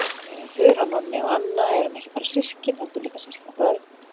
Þura og Nonni og Anna erum ekki bara systkin heldur líka systkinabörn.